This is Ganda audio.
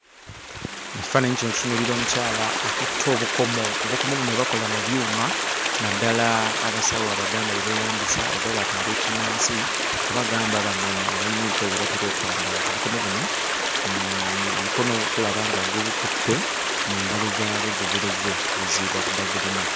Mu kifaananyi kino tutunuulira omukyala akutte obukomo obukomo buno bwe bakola mu byuma naddala abasawo abaganda be beeyambisa oba bano ab'ekinnansi oba gamba bano abayina empewo bwe batera okwambala obukomo buno ono ono omukono tulaba nga gubukutte mu ngalo zaabwo gubuleze nti bwe zi zi bagulina.